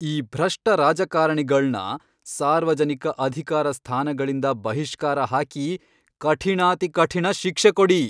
ಈ ಭ್ರಷ್ಟ ರಾಜಕಾರಣಿಗಳ್ನ ಸಾರ್ವಜನಿಕ ಅಧಿಕಾರ ಸ್ಥಾನಗಳಿಂದ ಬಹಿಷ್ಕಾರ ಹಾಕಿ ಕಠಿಣಾತಿಕಠಿಣ ಶಿಕ್ಷೆ ಕೊಡಿ.